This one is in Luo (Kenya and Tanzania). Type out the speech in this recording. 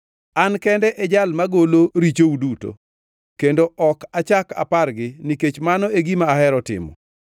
“An kende e jal magolo richou duto kendo ok achak apargi nikech mano e gima ahero timo.